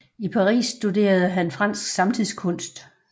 I Paris studerede han fransk samtidskunst